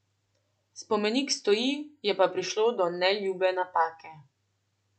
Spomenik stoji, je pa prišlo do neljube napake.